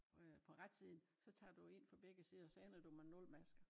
Øh på retsiden så tager du jo ind fra begge sider så ender du med 0 masker